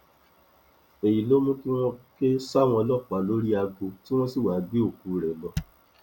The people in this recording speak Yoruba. èyí ló mú kí wọn ké sáwọn ọlọpàá lórí aago tí wọn sì wáá gbé òkú rẹ lọ